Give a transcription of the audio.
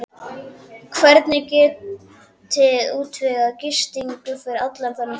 Hvernig getiði útvegað gistingu fyrir allan þennan fjölda?